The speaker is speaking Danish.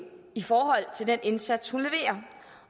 i forhold til den indsats hun leverer